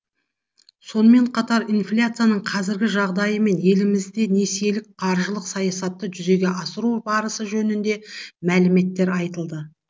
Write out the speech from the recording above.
сонымен қатар инфляцияның қазіргі жағдайы мен елімізде несиелік қаржылық саясатты жүзеге асыру барысы жөнінде мәліметтер айтылды